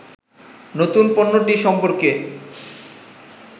নতুন পণ্যটি সম্পর্কে